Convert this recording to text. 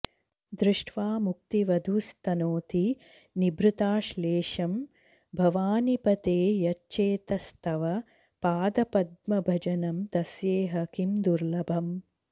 दृष्ट्वा मुक्तिवधूस्तनोति निभृताश्लेषं भवानीपते यच्चेतस्तव पादपद्मभजनं तस्येह किं दुर्लभम्